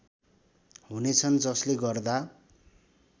हुनेछन् जसले गर्दा